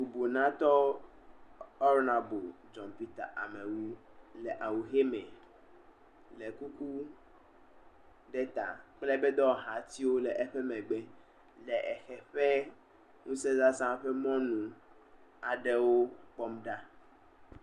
Bubunatɔ, Honaɖabe John Peter Amewu le awu ʋi me le kuku ɖe ta kple eƒe dɔwɔhatiwo le emegbe le eʋe ƒe nusẽzaza ƒe mɔnua ɖewo kpɔm ɖa.